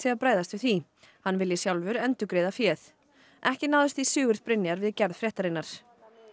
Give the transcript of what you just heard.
að bregðast við því hann vilji sjálfur endurgreiða féð ekki náðist í Sigurð Brynjar við gerð fréttarinnar